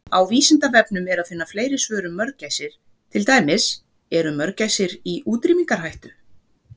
Á Vísindavefnum er að finna fleiri svör um mörgæsir, til dæmis: Eru mörgæsir í útrýmingarhættu?